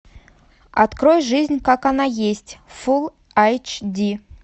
открой жизнь как она есть фул айч ди